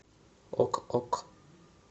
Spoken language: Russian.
ок ок